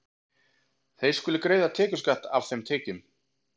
Þeir skulu greiða tekjuskatt af þeim tekjum.